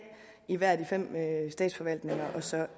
i hver af de fem statsforvaltninger og så